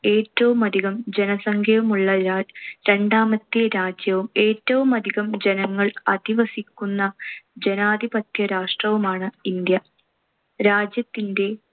ഏറ്റവും അധികം ജനസംഖ്യയുമുള്ള ര~ രണ്ടാമത്തെ രാജ്യവും ഏറ്റവുമധികം ജനങ്ങൾ അധിവസിക്കുന്ന ജനാധിപത്യ രാഷ്ട്രവുമാണ്‌ ഇന്ത്യ. രാജ്യത്തിന്‍റെ